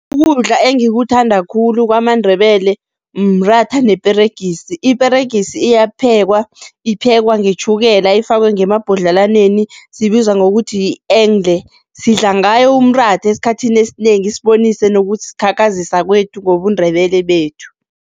Ukudla engikuthanda khulu kwamaNdebele mratha neperegisi, iperegisi iyaphekwa, iphekwa ngetjhukela ifakwe ngemabhodlelwaneni, sibizwa ngokuthi sidla ngayo umratha esikhathini esinengi sibonise nokuzikhakhazisa kwethu ngobuNdebele bethu.